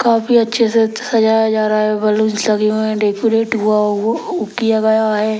काफी अच्छे से सजाया जा रहा है बलूंस लगे हुए हैं डेकोरेट हुआ उउ किया गया है।